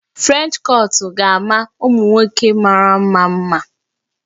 French kọtụ ga-ama ụmụ nwoke mara mma mma